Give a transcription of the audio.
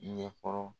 Ɲɛkɔrɔ